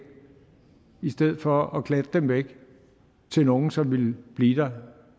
i stedet for at klatte dem væk til nogle som ville blive der